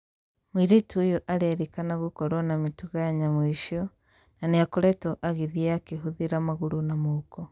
Mũirĩtu ũyũ arerĩkana gũkorwo na mĩtugo ya nyamũ icio na nĩakoretwo agĩthiĩ akĩhũthĩra magũrũ na moko.